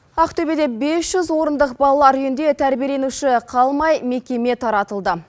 ақтөбеде бес жүз орындық балалар үйінде тәрбиеленуші қалмай мекеме таратылды